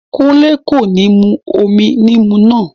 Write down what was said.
Kúnlé kò ní mú omi níìmù náà